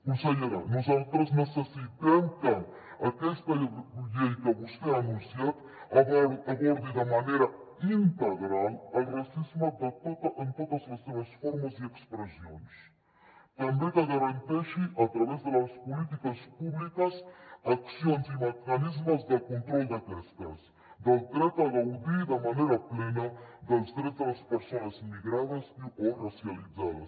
consellera nosaltres necessitem que aquesta llei que vostè ha anunciat abordi de manera integral el racisme en totes les seves formes i expressions també que garanteixi a través de les polítiques públiques accions i mecanismes de control d’aquestes polítiques del dret a gaudir de manera plena dels drets de les persones migrades o racialitzades